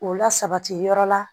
K'o lasabati yɔrɔ la